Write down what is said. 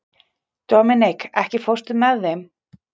Dominik, ekki fórstu með þeim?